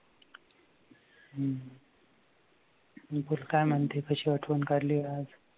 आणि बोल काय म्हणते कशी आठवण काढली आज